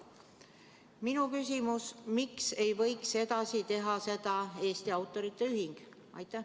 Minu küsimus: miks ei võiks sellega ka edaspidi tegelda Eesti Autorite Ühing?